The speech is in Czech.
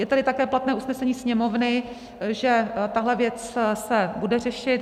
Je tady také platné usnesení Sněmovny, že tahle věc se bude řešit.